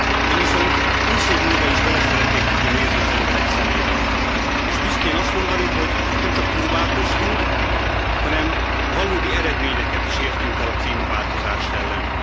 Én viszont húsz év múlva is bele szeretnék tudni nézni az emberek szemébe, és büszkén azt mondani, hogy nem csak próbálkoztunk, hanem valódi eredményeket is elértünk a klímaváltozás ellen.